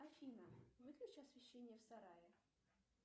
афина выключи освещение в сарае